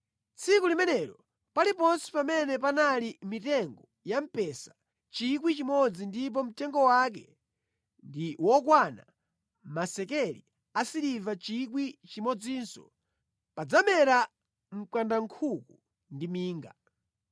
Tsiku limenelo, paliponse pamene panali mitengo ya mpesa 1,000 ndipo mtengo wake ndi wokwana masekeli asiliva 1,000, padzamera mkandankhuku ndi minga.